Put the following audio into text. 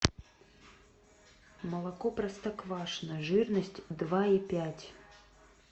молоко простоквашино жирность два и пять